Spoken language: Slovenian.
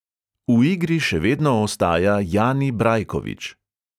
V igri še vedno ostaja jani brajkovič.